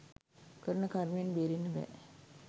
කරන කර්මයෙන් බේරෙන්න බෑ